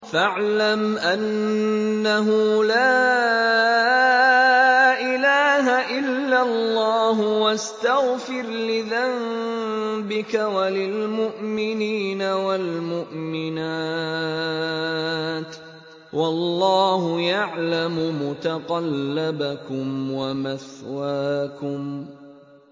فَاعْلَمْ أَنَّهُ لَا إِلَٰهَ إِلَّا اللَّهُ وَاسْتَغْفِرْ لِذَنبِكَ وَلِلْمُؤْمِنِينَ وَالْمُؤْمِنَاتِ ۗ وَاللَّهُ يَعْلَمُ مُتَقَلَّبَكُمْ وَمَثْوَاكُمْ